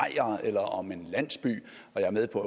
eller om en landsby jeg er med på